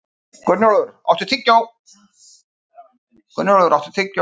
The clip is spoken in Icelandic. Gunnólfur, áttu tyggjó?